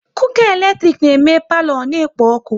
Cooka eletrik na eme palo ọ na-ekpo ọkụ